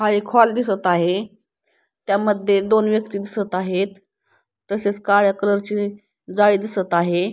हा एक हॉल दिसत आहे त्यामध्ये दोन व्यक्ती दिसत आहेत तसेच काळ्या कलरची जाळी दिसत आहे.